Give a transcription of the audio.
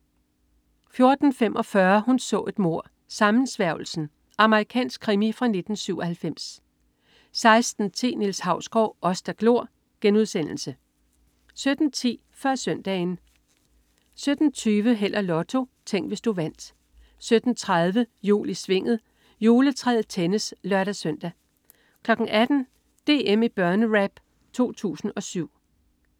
14.45 Hun så et mord: Sammensværgelsen. Amerikansk krimi fra 1997 16.10 Niels Hausgaard. Os der glor* 17.10 Før Søndagen 17.20 Held og Lotto. Tænk, hvis du vandt 17.30 Jul i Svinget. Juletræet tændes (lør-søn) 18.00 DM i Børnerap 2007